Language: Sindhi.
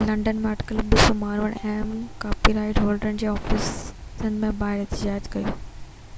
لنڊن ۾ اٽڪل 200 ماڻهن اهم ڪاپي رائيٽ هولڊرن جي آفيسن جي ٻاهر احتجاج ڪيو